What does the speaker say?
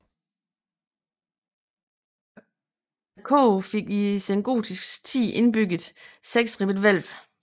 Koret fik i sengotisk tid indbygget seksribbet hvælv